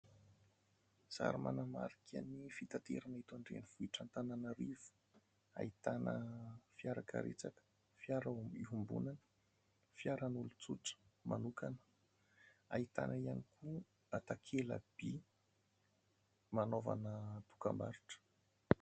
Sary manamarika ny fitaterana eto an-drenivohitra Antananarivo, ahitana fiara karetsaka, fiara iombonana, fiara an'olontsotra manokana, ahitana ihany koa takela-by nanaovana dokambarotra.